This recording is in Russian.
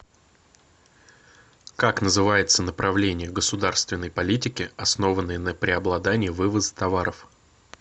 как называется направление государственной политики основанное на преобладании вывоза товаров